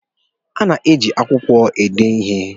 A na-eji akwụkwọ ede ihe.